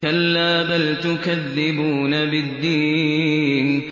كَلَّا بَلْ تُكَذِّبُونَ بِالدِّينِ